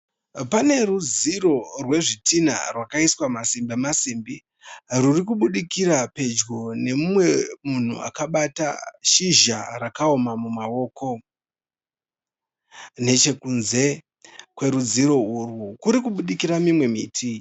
Pane rudziro rwezvidhina rwakaiswa masimbi masimbi rwuri kubudikira pedyo nemumwe munhu akabata shizha rakaoma mumaoko. Nechekunze kwerudziro urwu kuri kubudikira imwe miti.